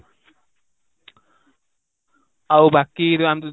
ଆଉ ବାକି ଜାଣିଛୁ